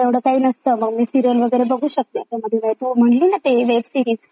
त्याच्यामध्ये म्हटलींना web series ती पण आता स्टार्ट करेल थोडं बघायला.